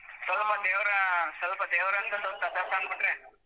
ಸ್ವಲ್ಪ ದೇವ್ರಂದ್ರೆ ಸ್ವಲ್ಪ ತಥಾಸ್ತು ಅಂದ್ಬಿಟ್ರೆ.